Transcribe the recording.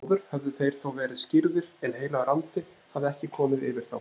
Áður höfðu þeir þó verið skírðir en heilagur andi hafði ekki komið yfir þá.